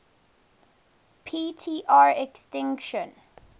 p tr extinction